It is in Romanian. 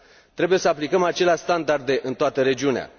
Trebuie să aplicăm aceleași standarde în toată regiunea.